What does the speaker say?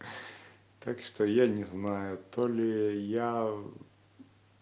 так что я не знаю то ли я